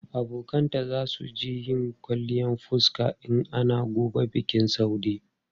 Abokanta za su je yin kwalliyan fuska in ana gobe bikin Saude.